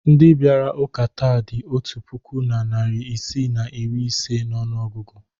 Ndị bịara ụka taa dị otu puku na narị isii na iri ise n'ọnụọgụgụ.